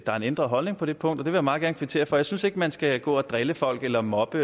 er en ændret holdning på det punkt vil jeg meget gerne kvittere for jeg synes ikke man skal gå og drille folk eller mobbe